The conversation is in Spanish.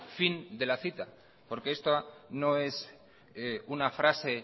fin de la cita porque esta no es una frase